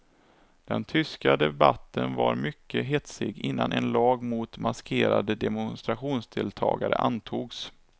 Den tyska debatten var mycket hetsig innan en lag mot maskerade demonstrationsdeltagare antogs.